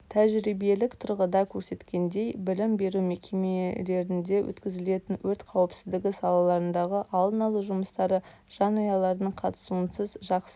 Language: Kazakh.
тәжірибелік тұрғыда көрсеткендей білім беру мекемелерінде өткізілетін өрт қауіпсіздігі саласындағы алдын алу жұмыстары жанұялардың қатысуынсыз жақсы